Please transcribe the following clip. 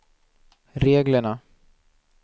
reglerna